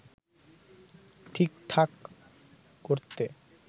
ঠিকঠাক করতে